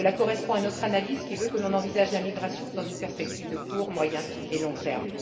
Cela correspond à notre analyse, qui veut que l'on envisage la migration dans une perspective à court, moyen et long termes.